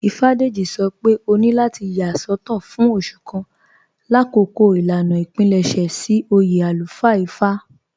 Ífádéjì̀ sọ́ pé òní látì yà sọtọ̀ fún òṣù kàn lákọọ̀ ilànà ìpílẹṣẹ̀ sí oyè alúfáà Ífá"